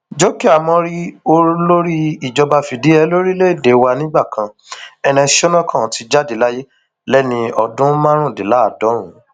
jókè ámórì olórí ìjọba fìdíhé lórílẹèdè wa nígbà kan ernest shonekan ti jáde láyé lẹni ọdún márùndínláàádọrùn